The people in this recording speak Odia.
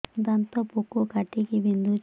ଦାନ୍ତ ପୋକ କାଟିକି ବିନ୍ଧୁଛି